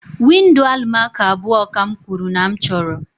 Windo Alụmaco abụọ ka m kwuru na m chọrọ